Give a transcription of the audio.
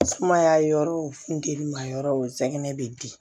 Sumaya yɔrɔ o funteni ma yɔrɔ o sɛgɛn be di